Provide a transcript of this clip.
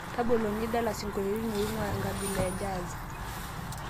tabolo nidala isingolioitin oing'uaa enkabila e jazz